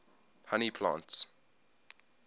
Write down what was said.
honey plants